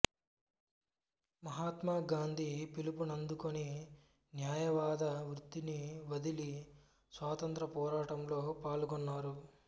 మహాత్మా గాంధీ పిలుపునందుకొని న్యాయవాద వృత్తిని వదలి స్వాతంత్ర్యపోరాటంలో పాల్గొన్నారు